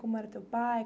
Como era teu pai?